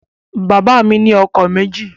Bàbá mi ni ọkọ̀ méjì